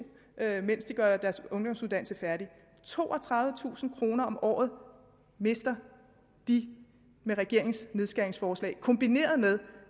mens de gør deres ungdomsuddannelse færdig toogtredivetusind kroner om året mister de med regeringens nedskæringsforslag kombineret med